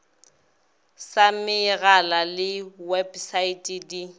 sa megala le websaete di